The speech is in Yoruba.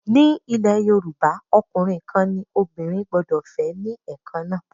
Nílẹ̀ Yorùbá, ọkùnrin kan ní obìnrin gbọ́dọ̀ fẹ́ ní Ẹ̀kan náà.